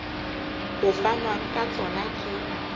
ho fanwang ka tsona ke